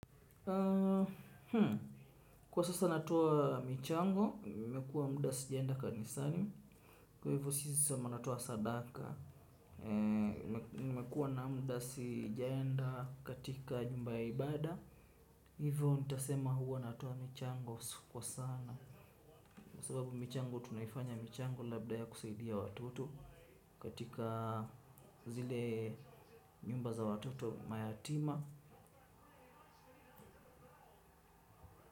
Kwa sasa natowa michango, mekua muda sijaenda ka Nisani. Kwa hivyo sisi sama natuwa Sadaka. Mekua na muda sijaenda katika jumba ya ibada hivo nitasema huwa natoa michango kwa sana sababu michango tunaifanya michango labda ya kusaidia watoto katika zile nyumba za watoto mayatima.